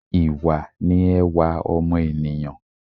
Ìwà ni ẹwà ọmọ ènìyãn